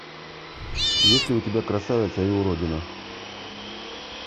есть ли у тебя красавица и уродина